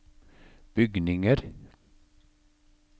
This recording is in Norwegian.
bygninger